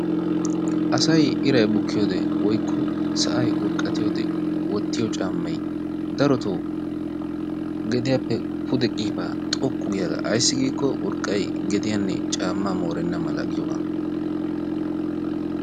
Asayi irayi bukkiyode woykka sa"ayi urqqatiyode wottiyo caammayi daroto gediyappe pude qiibaa xoqqu giyaga. Ayssi giikkoo urqqayi gediyanne caammaa moorenna mala giyooga.